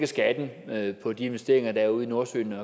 skatten på de investeringer der er ude i nordsøen